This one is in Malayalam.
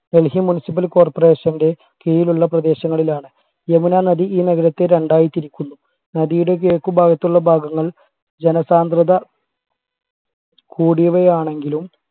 ഡൽഹി municipal corporation ന്റെ കീഴിലുള്ള പ്രദേശങ്ങളിലാണ് യമുനാ നദി ഈ നഗരത്തെ രണ്ടായി തിരിക്കുന്നു നദിയുടെ കിഴക്കുഭാഗത്തുള്ള ഭാഗങ്ങൾ ജനസാന്ദ്രത കൂടിയവയാണെങ്കിലും